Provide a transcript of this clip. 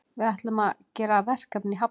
Við ætlum að gera verkefni í Hafnarfirði.